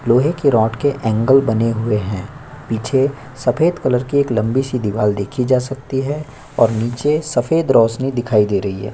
लोहे के रॉड के बने हुए एंगल है पीछे सफेद कलर की एक लंबी सी दीवाल देखी जा सकती है और नीचे सफेद रोशनी दिखाई दे रही है।